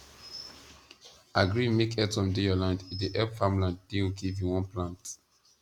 agree make earthworm dey your land e dey help farmland dey okay if you wan plant